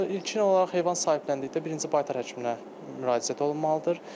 İlkin olaraq heyvan sahibləndikdə birinci baytar həkiminə müraciət olunmalıdır.